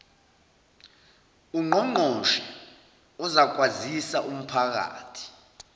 ungqongqoshe uzakwazisa umphakathi